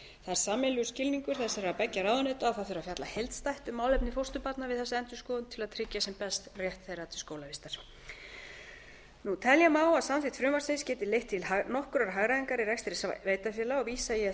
er sameiginlegur skilningur þessara beggja ráðuneyta að það þurfi að fjalla heildstætt um málefni fósturbarna við þessa endurskoðun til að tryggja sem best rétt þeirra til skólavistar telja má að samþykkt frumvarpsins geti leitt til nokkurrar hagræðingar í rekstri sveitarfélaga og vísa ég